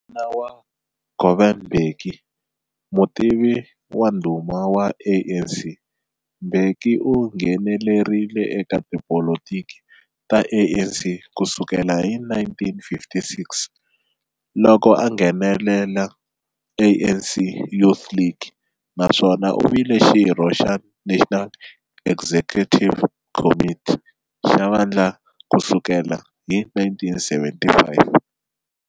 N'wana wa Govan Mbeki, mutivi wa ndhuma wa ANC, Mbeki u nghenelerile eka tipolotiki ta ANC ku sukela hi 1956, loko a nghenela ANC Youth League, naswona u vile xirho xa National Executive Committee xa vandla ku sukela hi 1975.